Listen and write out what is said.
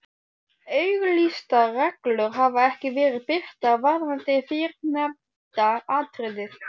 Auglýstar reglur hafa ekki verið birtar varðandi fyrrnefnda atriðið.